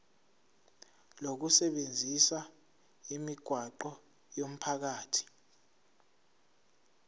lokusebenzisa imigwaqo yomphakathi